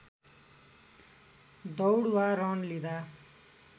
दौड वा रन लिँदा